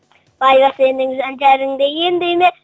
байлық сенің жан жараңды емдей ме